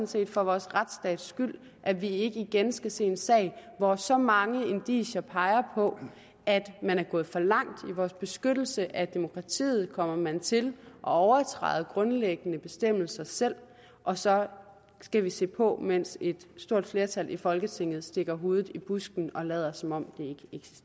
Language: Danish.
set for vores retsstats skyld at vi ikke igen skal se en sag hvor så mange indicier peger på at man er gået for langt i vores beskyttelse af demokratiet og man kommer til at overtræde grundlæggende bestemmelser selv og så skal vi se på mens et stort flertal i folketinget stikker hovedet i busken og lader som om